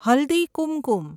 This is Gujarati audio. હલ્દી કુમકુમ